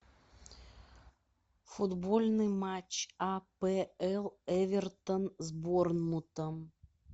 футбольный матч апл эвертон с борнмутом